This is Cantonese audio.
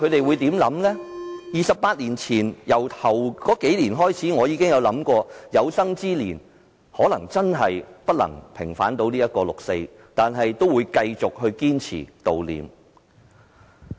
回想28年前，我在首數年真的有想過，可能有生之年都無法平反六四，但我仍會堅持悼念。